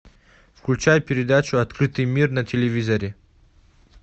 включай передачу открытый мир на телевизоре